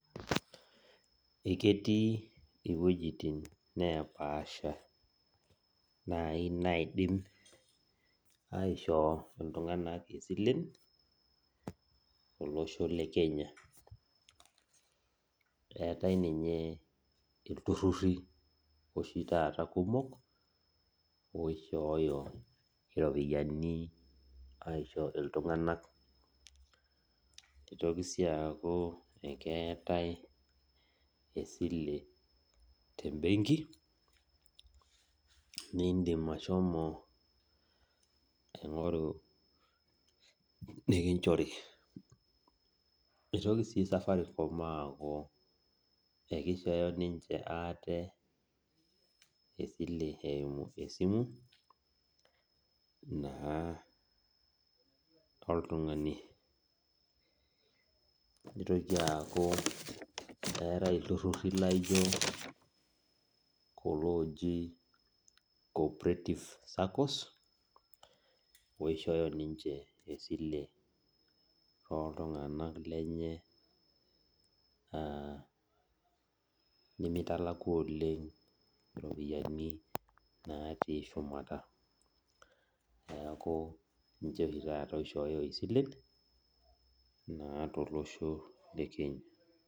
Eketii wejitin napaasha naii naidim aishoo iltunganak silent te losho le Kenya. Eatae ninye ilturruri oshi taata kumok oishooyo iropiyiani aisho iltunganak. Eitoki sii aaku ekeatae esile te imbenki niindim ashomo aingoru nikinchori. Eitoki sii safaricom aaku ekeichooyo dei ninche maate esile eimu esimu, naa oltungani oitoki aaku eatae iltururi laijo kulo ooji co-operative saccos oishopyo ninche esilen oltunganak lenyena, naa emeitalaku oleng iropiyiani natii shumata, naaku ninche taata oichooyo esilen naa tolosho le Kenya